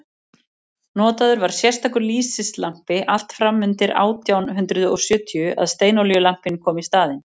notaður var sérstakur lýsislampi allt fram undir átján hundrað og sjötíu að steinolíulampinn kom í staðinn